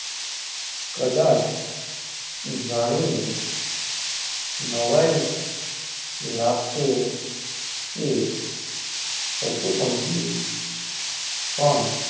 કદાચ જાની ને નવાઈ લાગસે કે પશુ -પંખી પણ,